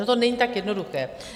Ono to není tak jednoduché.